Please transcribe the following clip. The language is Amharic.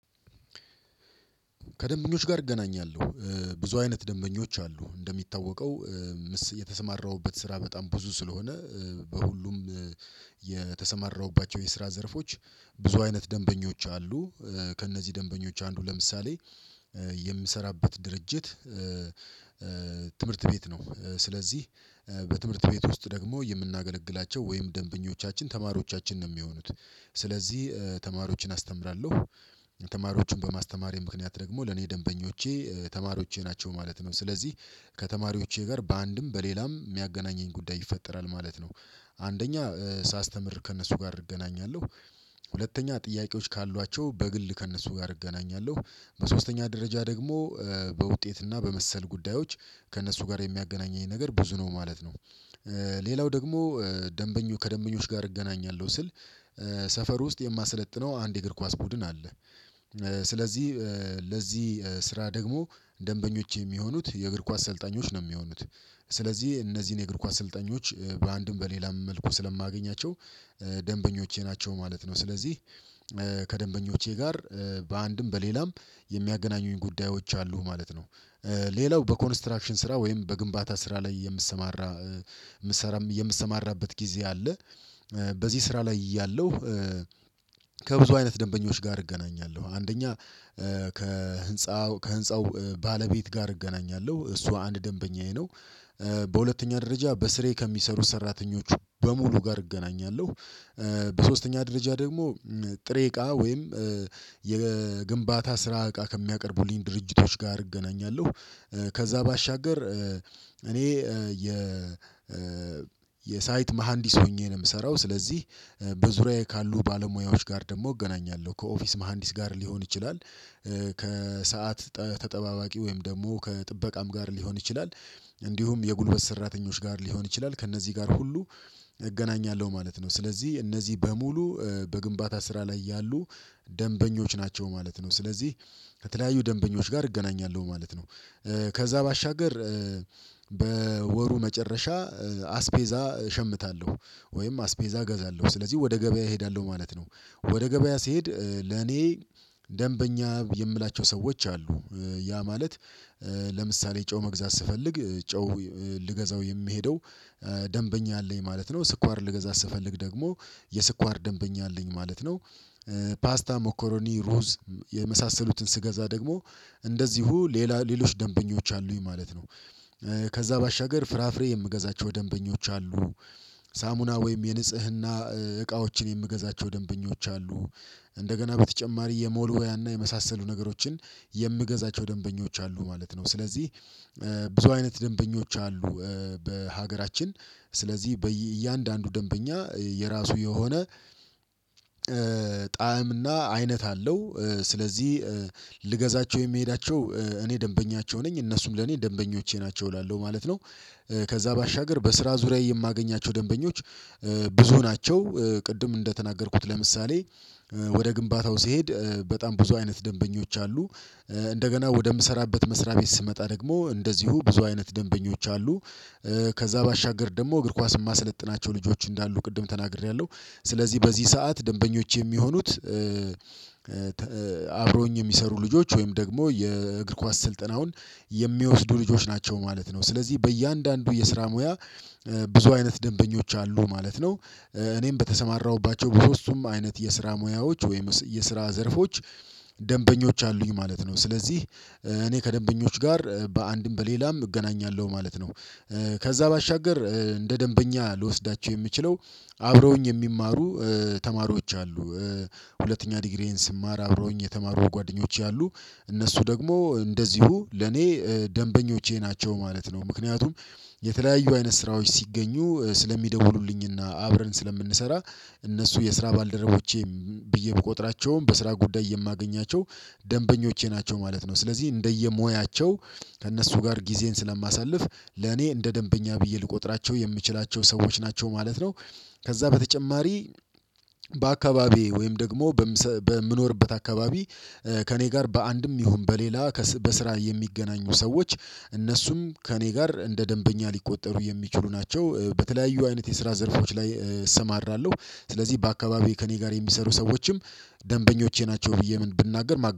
ከደንበኞች ጋር እገናኛለሁ ብዙ አይነት ደንበኞች አሉ እንደሚታወቀው የተሰማራሁበት ስራ በጣም ብዙ ስለሆነ በሁሉም የተሰማራሁባቸው የስራ ዘርፎች ብዙ አይነት ደንበኞች አሉ ከእነዚህ ደንበኞች አንዱ ለምሳሌ የምሰራበት ድርጅት ትምህርት ቤት ነው ስለዚህ በትምህርት ቤት ውስጥ ደግሞ የምናገለግላቸው ወይም ደንበኞቻችን ተማሪዎቻችን ነው የሚሆኑት ስለዚህ ተማሪዎችን አስተምራለሁ ተማሪዎቹን በማስተማሬ ምክንያት ደግሞ ለኔ ደንበኞቼ ተማሪዎቼ ናቸው ማለት ነው ስለዚህ ከተማሪዎቼ ጋር በአንድም በሌላም የሚያገናኘኝ ጉዳይ ይፈጠራል ማለት ነው አንደኛ ሳስተምር ከእነሱ ጋር እገናኛለሁ ሁለተኛ ጥያቄዎች ካሏቸው በግል ከእነሱ ጋር እገናኛለሁ። በሶስተኛ ደረጃ ደግሞ በውጤት እና በመሰል ጉዳዮች ከእነሱ ጋር የሚያገናኘኝ ነገር ብዙ ነው ማለት ነው። ሌላው ደግሞ ደንበኞ ከደንበኞች ጋር እገናኛለሁ ስል ሰፈር ውስጥ የማሰለጥነው አንድ የእግር ኳስ ቡድን አለ። ስለዚህ ለዚህ ስራ ደግሞ ደንበኞች የሚሆኑት የእግር ኳስ ሰልጣኞች ነው የሚሆኑት። ስለዚህ እነዚህን የእግር ኳስ ስልጠኞች በአንድም በሌላም መልኩ ስለማገኛቸው ደንበኞቼ ናቸው ማለት ነው። ስለዚህ ከደንበኞቼ ጋር በአንድም በሌላም የሚያገናኙኝ ጉዳዮች አሉ ማለት ነው። ሌላው በኮንስትራክሽን ስራ ወይም በግንባታ ስራ ላይ የምሰማራ የምትሰማራበት ጊዜ አለ በዚህ ስራ ላይ እያለሁ ከብዙ አይነት ደንበኞች ጋር እገናኛለሁ። አንደኛ ከህንፃው ከህንፃው ባለቤት ጋር እገናኛለሁ። እሱ አንድ ደንበኛዬ ነው። በሁለተኛ ደረጃ በስሬ ከሚሰሩ ሰራተኞች በሙሉ ጋር እገናኛለሁ። በሶስተኛ ደረጃ ደግሞ ጥሬ እቃ ወይም የግንባታ ስራ እቃ ከሚያቀርቡልኝ ድርጅቶች ጋር እገናኛለሁ። ከዛ ባሻገር እኔ የ የሳይት መሃንዲስ ሆኜ ነው የምሰራው። ስለዚህ በዙሪያዬ ካሉ ባለሙያዎች ጋር ደግሞ እገናኛለሁ። ከኦፊስ መሃንዲስ ጋር ሊሆን ይችላል ተጠባባቂ ወይም ደግሞ ከጥበቃም ጋር ሊሆን ይችላል እንዲሁም የጉልበት ሰራተኞች ጋር ሊሆን ይችላል ከእነዚህ ጋር ሁሉ እገናኛለሁ ማለት ነው። ስለዚህ እነዚህ በሙሉ በግንባታ ስራ ላይ ያሉ ደንበኞች ናቸው ማለት ነው። ስለዚህ ከተለያዩ ደንበኞች ጋር እገናኛለሁ ማለት ነው። ከዛ ባሻገር በወሩ መጨረሻ አስቤዛ እሸምታለሁ። ወይም አስቤዛ እገዛለሁ። ስለዚህ ወደ ገበያ እሄዳለሁ ማለት ነው። ወደ ገበያ ስሄድ ለኔ ደንበኛ የምላቸው ሰዎች አሉ። ያ ማለት ለምሳሌ ጨው መግዛት ስፈልግ ጨው ልገዛው የምሄደው ደንበኛ አለኝ ማለት ነው። ስኳር ልገዛ ስፈልግ ደግሞ የስኳር ደንበኛ አለኝ ማለት ነው። ፓስታ መኮሮኒ ሩዝ የመሳሰሉትን ስገዛ ደግሞ እንደዚሁ ሌላ ሌሎች ደንበኞች አሉኝ ማለት ነው። ከዛ ባሻገር ፍራፍሬ የምገዛቸው ደንበኞች አሉ። ሳሙና ወይም የንጽህና እቃዎችን የምገዛቸው ደንበኞች አሉ። እንደገና በተጨማሪ የመወልወያና የመሳሰሉ ነገሮችን የምገዛቸው ደንበኞች አሉ ማለት ነው። ስለዚህ ብዙ አይነት ደንበኞች አሉ። በሀገራችን ስለዚህ በእያንዳንዱ ደንበኛ የራሱ የሆነ ጣዕምና አይነት አለው። ስለዚህ ልገዛቸው የምሄዳቸው እኔ ደንበኛቸው ነኝ እነሱም ለኔ ደንበኞቼ ናቸው እላለሁ ማለት ነው። ከዛ ባሻገር በስራ ዙሪያዬ የማገኛቸው ደንበኞች ብዙ ናቸው። ቅድም እንደተናገርኩት ለምሳሌ ወደ ግንባታው ስሄድ በጣም ብዙ አይነት ደንበኞች አሉ። እንደገና ወደምሰራበት መስሪያ ቤት ስመጣ ደግሞ እንደዚሁ ብዙ አይነት ደንበኞች አሉ። ከዛ ባሻገር ደግሞ እግር ኳስ እማሰለጥናቸው ልጆች እንዳሉ ቅድም ተናግሬያለሁ ስለዚህ በዚህ ሰዓት ደንበኞቼ የሚሆኑት አብሮኝ የሚሰሩ ልጆች ወይም ደግሞ የእግር ኳስ ስልጠናውን የሚወስዱ ልጆች ናቸው ማለት ነው። ስለዚህ በእያንዳንዱ የስራ ሙያ ብዙ አይነት ደንበኞች አሉ ማለት ነው። እኔም በተሰማራሁባቸው በሶስቱም አይነት የስራ ሙያዎች ወይም የስራ ዘርፎች ደንበኞች አሉኝ ማለት ነው። ስለዚህ እኔ ከደንበኞች ጋር በአንድም በሌላም እገናኛለሁ ማለት ነው። ከዛ ባሻገር እንደ ደንበኛ ልወስዳቸው የምችለው አብረውኝ የሚማሩ ተማሪዎች አሉ። ሁለተኛ ዲግሪዬን ስማር አብሮኝ የተማሩ ጓደኞቼ አሉ። እነሱ ደግሞ እንደዚሁ ለኔ ደንበኞቼ ናቸው ማለት ነው። ምክንያቱም የተለያዩ አይነት ስራዎች ሲገኙ ስለሚደውሉልኝና አብረን ስለምንሰራ እነሱ የስራ ባልደረቦቼም ብዬ ብቆጥራቸውም በስራ ጉዳይ የማገኛቸው ደንበኞቼ ናቸው ማለት ነው። ስለዚህ እንደየሞያቸው ከእነሱ ጋር ጊዜን ስለማሳልፍ ለኔ እንደ ደንበኛ ብዬ ልቆጥራቸው የምችላቸው ሰዎች ናቸው ማለት ነው። ከዛ በተጨማሪ በአካባቢዬ ወይም ደግሞ በምኖርበት አካባቢ ከእኔ ጋር በአንድም ይሁን በሌላ በስራ የሚገናኙ ሰዎች እነሱም ከእኔ ጋር እንደ ደንበኛ ሊቆጠሩ የሚችሉ ናቸው። በተለያዩ አይነት የስራ ዘርፎች ላይ እሰማራለሁ ስለዚህ በአካባቢ ከእኔ ጋር የሚሰሩ ሰዎችም ደንበኞቼ ናቸው ብዬ ምን ብናገር